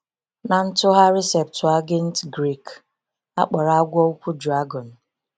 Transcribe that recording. N’Ntụgharị Septuagint Grik, a kpọrọ ‘agwọ ukwu’ ‘dragọn.’